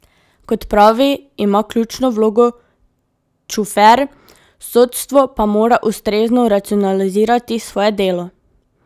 Kot pravi, ima ključno vlogo Čufer, sodstvo pa mora ustrezno racionalizirati svoje delo.